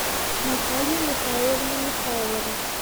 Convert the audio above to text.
наталья михайловна михайлова